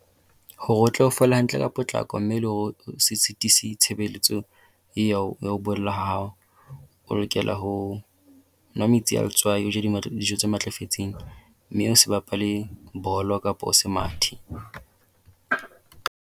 Hore o tlo o fole hantle ka potlako mme le hore o se sitisi tshebeletso e ya ho ya ho bolla ha hao, o lokela ho nwa metsi a letswai o je dijo tse matlafetseng mme o se bapale bolo kapo o se mathe.